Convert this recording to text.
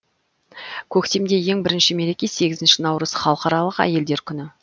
көктемде ең бірінші мереке сегізінші наурыз халықаралық әйелдер күні